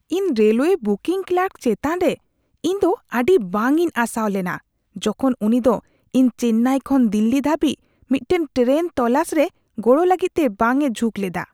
ᱤᱧ railway booking clerk ᱪᱮᱛᱟᱱ ᱨᱮ ᱤᱧ ᱫᱚ ᱟᱹᱰᱤ ᱵᱟᱝ ᱤᱧ ᱟᱥᱟᱣ ᱞᱮᱱᱟ, ᱡᱚᱠᱷᱚᱱ ᱩᱱᱤ ᱫᱚ ᱤᱧ ᱪᱮᱱᱱᱟᱭ ᱠᱷᱚᱱ ᱫᱤᱞᱞᱤ ᱫᱷᱟᱹᱵᱤᱡ ᱢᱤᱫᱴᱟᱝ ᱴᱮᱨᱮᱱ ᱛᱚᱞᱟᱥ ᱨᱮ ᱜᱚᱲᱚ ᱞᱟᱹᱜᱤᱫ ᱛᱮ ᱵᱟᱝ ᱮ ᱡᱷᱩᱸᱠ ᱞᱮᱫᱟ ᱾